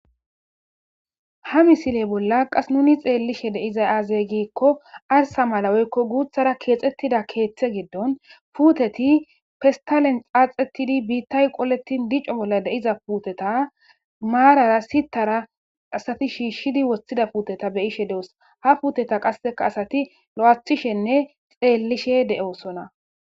ha misiley bolla qas nuni xeellishe deizay aazey giikko arsa malaweykko guuthara keexxettida keeththe giddon puuteti pestalen xaaxettidi biittay qoletin dico bolla deiza puteta maarara sitara asati shiishshidi wossida puuteta beyishe deos ha puuteta qasseka asati lo7athishenne xeellishe de7osona